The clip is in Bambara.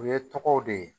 U ye tɔgɔw de ye